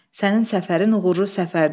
Sənin səfərin uğurlu səfərdir.